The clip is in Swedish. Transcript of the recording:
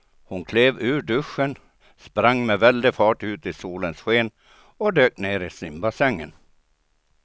Hon klev ur duschen, sprang med väldig fart ut i solens sken och dök ner i simbassängen.